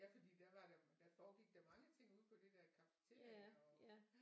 Ja fordi der var da der foregik da mange ting derude på det der cafeteria og øh